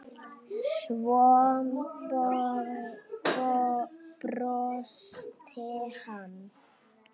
Svo brosti hann.